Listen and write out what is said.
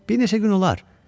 Bir neçə gün olar.